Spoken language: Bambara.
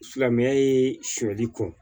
Silamɛya ye sɔli kɔ